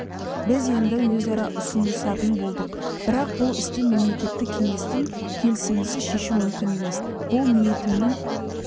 біз енді өзара ұғынысатын болдық бірақ бұл істі мемлекеттік кеңестің келісімінсіз шешу мүмкін емес бұл ниетімнің